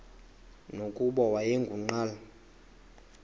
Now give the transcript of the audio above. nokuba wayengu nqal